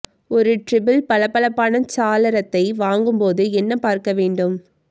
ஒரு ட்ரிபிள் பளபளப்பான சாளரத்தை வாங்கும் போது என்ன பார்க்க வேண்டும்